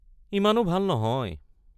ইমানো ভাল নহয়।